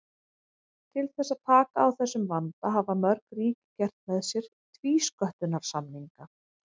Til þess að taka á þessum vanda hafa mörg ríki gert með sér tvísköttunarsamninga.